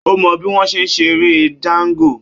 Ó mọ bí wọ́n ṣe ń ṣeré Django